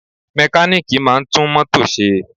Mẹkálíìkì máà ń tún mótò ṣe.